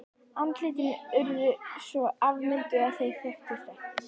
Andlitin urðu svo afmynduð að þeir þekktust ekki.